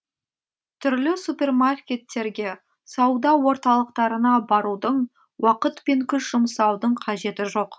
түрлі супермаркеттерге сауда орталықтарына барудың уақыт пен күш жұмсаудың қажеті жоқ